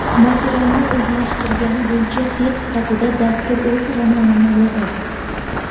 Materialni o‘zlashtirgani bo‘yicha test sifatida, dastur o‘z romanini yozadi.